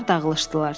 Onlar dağılışdılar.